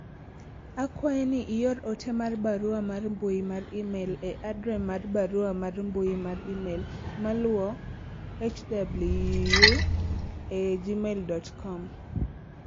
akwayi ni ior ote mar barua mar mbui mar email e adre mar barua mar mbui mar email maluwo hwu e gmail dot kom